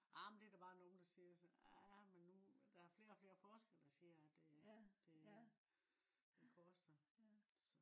amen det der bare nogen der siger så. Ja men nu der er flere og flere forskere der siger det det øh koster